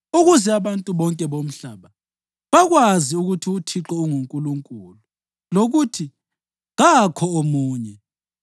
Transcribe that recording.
ukuze abantu bonke bomhlaba bakwazi ukuthi uThixo unguNkulunkulu lokuthi kakho omunye.